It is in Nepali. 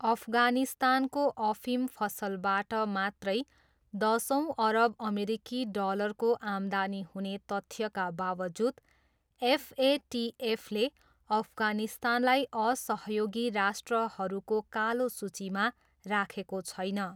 अफगानिस्तानको अफिम फसलबाट मात्रै दसौँ अरब अमेरिकी डलरको आम्दानी हुने तथ्यका बाबजुद एफएटिएफले अफगानिस्तानलाई असहयोगी राष्ट्रहरूको कालो सूचीमा राखेको छैन।